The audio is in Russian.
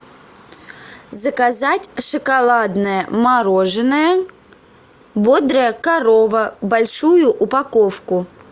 заказать шоколадное мороженое бодрая корова большую упаковку